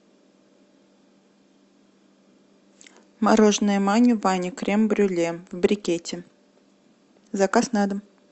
мороженное мани бани крем брюле в брикете заказ на дом